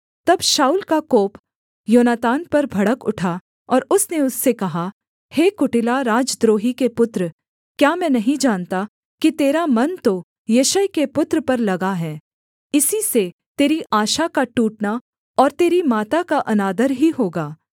तब शाऊल का कोप योनातान पर भड़क उठा और उसने उससे कहा हे कुटिला राजद्रोही के पुत्र क्या मैं नहीं जानता कि तेरा मन तो यिशै के पुत्र पर लगा है इसी से तेरी आशा का टूटना और तेरी माता का अनादर ही होगा